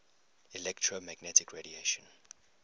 electromagnetic radiation